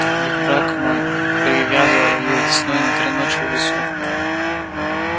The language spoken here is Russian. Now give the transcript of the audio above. ведь браг мой привязывал её весной на три ночи в лесу